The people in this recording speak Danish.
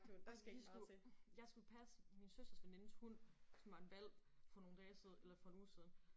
Ej men vi skulle jeg skulle passe min søsters venindes hund som var en hvalp for nogle dage siden eller for en uge siden